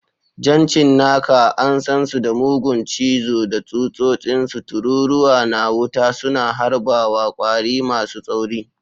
Jan cinnaka, an san su da mugun cizo da tsutsotsinsu, tururuwa na wuta suna harbawa, kwari masu tsauri.